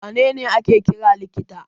Wa ne ne ake kira likita?